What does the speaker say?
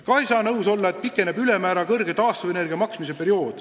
Ka ei saa nõus olla, et pikeneb ülemäära kõrge määraga taastuvenergia tasu maksmise periood.